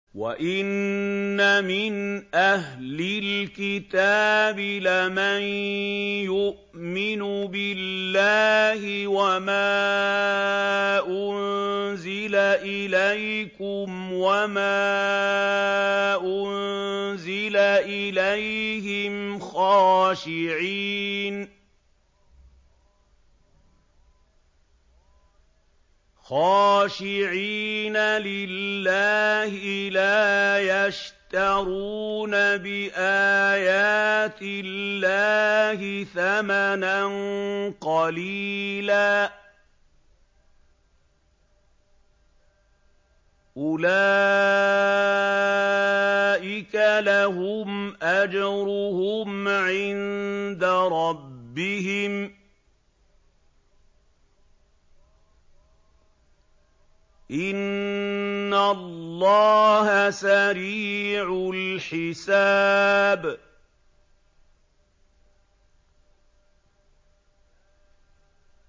وَإِنَّ مِنْ أَهْلِ الْكِتَابِ لَمَن يُؤْمِنُ بِاللَّهِ وَمَا أُنزِلَ إِلَيْكُمْ وَمَا أُنزِلَ إِلَيْهِمْ خَاشِعِينَ لِلَّهِ لَا يَشْتَرُونَ بِآيَاتِ اللَّهِ ثَمَنًا قَلِيلًا ۗ أُولَٰئِكَ لَهُمْ أَجْرُهُمْ عِندَ رَبِّهِمْ ۗ إِنَّ اللَّهَ سَرِيعُ الْحِسَابِ